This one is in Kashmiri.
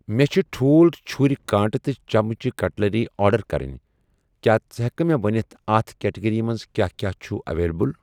مےٚ چھ ٹھوٗل, چُھرؠ، کانٛٹہٕ تہٕ چمچہٕ, کٹلٔری آرڈر کرٕنۍ، کیٛاہ ژٕ ہٮ۪کہٕ مےٚ ونِتھ اَتھ کیٹگری منٛز کیٛاہ کیٛاہ چھ اویلیبل